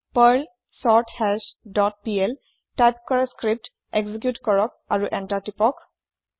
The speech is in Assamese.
পাৰ্ল চৰ্থাশ ডট পিএল টাইপ কৰা স্ক্ৰিপ্ত এক্জি্কিওত কৰক আৰু এন্তাৰ টিপক